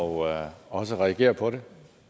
og også reagerer på den